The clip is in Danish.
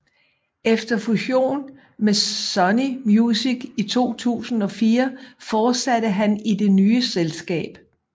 Efter fusion med Sony Music i 2004 fortsatte han i det nye selskab